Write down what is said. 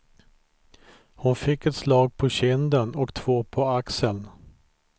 Hon fick ett slag på kinden och två på axeln.